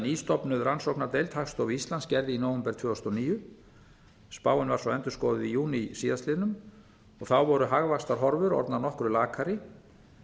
nýstofnuð rannsóknardeild hagstofu íslands gerði í nóvember tvö þúsund og níu spáin var svo endurskoðuð í júní síðastliðinn og þá voru hagvaxtarhorfur orðnar nokkru lakari